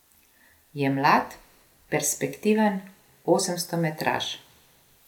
Je mlad, perspektiven osemstometraš.